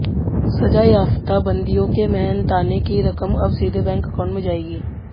सजायाफ्ता बंदियों के मेहनताने की रकम अब सीधे बैंक अकाउंट में जाएगी